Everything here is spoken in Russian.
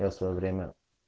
я своё время